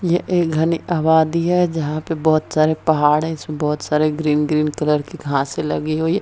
ये एक घने अबादी है जहाँ पर बहोत सारे पहाड़ है जिसमे बहोत सारे ग्रीन - ग्रीन कलर के घासे लगी हुई है।